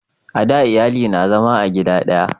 a da iyali na zama a gida daya